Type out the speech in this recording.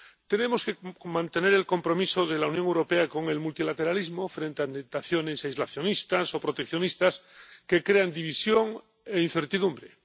Tenemos que mantener el compromiso de la Unión Europea con el multilateralismo, frente a tentaciones aislacionistas o proteccionistas que crean división e incertidumbre.